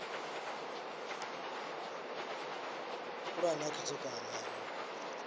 khulwane ya khethekanyo ya u